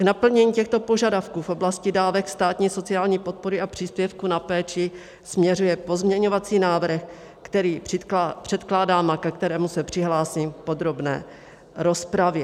K naplnění těchto požadavků v oblasti dávek státní sociální podpory a příspěvku na péči směřuje pozměňovací návrh, který předkládám a ke kterému se přihlásím v podrobné rozpravě.